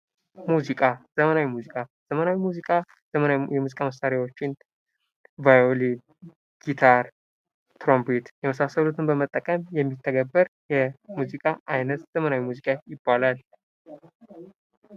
ሙዚቃ ዘመናዊ ሙዚቃ:- ዘመናዊ ሙዚቃ ዘመናዊ የሚዚቃ መሳሪያዎችን ቫዮሊን፣ ጊታረሰ፣ ትሮምቤት የመሳሰሉትን በመጠቀም የሚተገበር የሙዚቃ አይነት ዘመናዊ ሙዚቃ ይባላል።